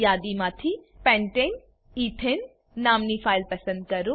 યાદીમાંથી pentane ethane નામની file પસંદ કરો